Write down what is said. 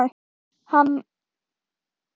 Mamma hætti að vilja koma fram með hljómsveitinni.